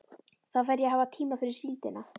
Þá fer ég að hafa tíma fyrir síldina.